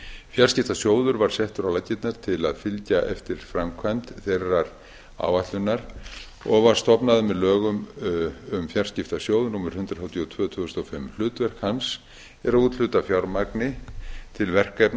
fjarskiptasjóður var settur á laggirnar til að fylgja eftir framkvæmd þeirrar áætlunar og var stofnaður með lögum um fjarskiptasjóð númer hundrað þrjátíu og tvö tvö þúsund og fimm hlutverk hans er að úthluta fjármagni til verkefna